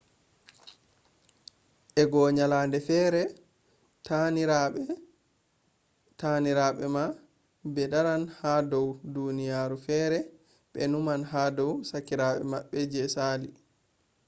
eago ylade fere tani rabe ma be daran ha dou duniya fere be numan ha dou kakirabe mabbe je sali